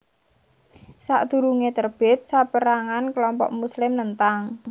Sadurunge terbit saperangan kelompok Muslim nentang